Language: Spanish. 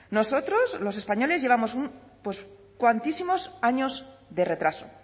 nosotros los españoles llevamos un pues cuantísimos años de retraso